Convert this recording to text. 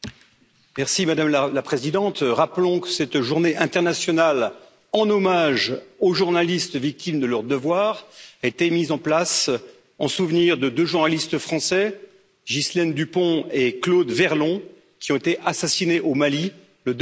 Madame la Présidente, rappelons que cette journée internationale en hommage aux journalistes victimes de leur devoir a été mise en place en souvenir de deux journalistes français, Ghislaine Dupont et Claude Verlon, qui ont été assassinés au Mali le 2 novembre